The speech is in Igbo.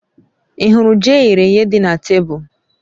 Ì hụrụ ji eyere èyé dị na tebụl?